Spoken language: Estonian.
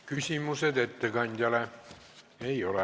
Küsimusi ettekandjale ei ole.